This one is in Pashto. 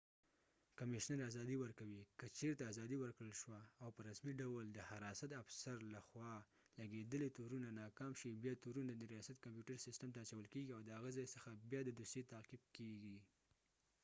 کمیشنر ازادي ورکوي که چېرته ازادي ورکړل شوه او په رسمی ډول د حراست افسر له خوا لږیدلی تو رونه ناکام شي بیا تورونه د ریاستی کمپیوټر سیستم ته اچول کېږی او دهغه ځای څخه بیا د دوسیې تعقیب کېږی